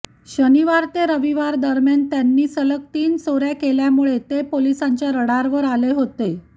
शनिवार ते रविवार दरम्यान त्यांनी सलग तीन चोऱ्या केल्यामुळे ते पोलिसांच्या रडारवर आले होते